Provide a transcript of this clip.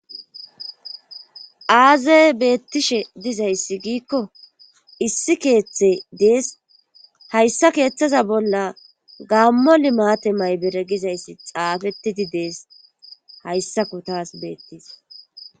Aaze beettishe dizayssi giikko issi keethe dees hayssa keethaza bolla gaammo limmate maybere gizaysssi xaafettidi dees hayssako taas beettis.